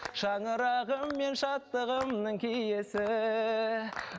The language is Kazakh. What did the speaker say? шаңырағым мен шаттығымның киесі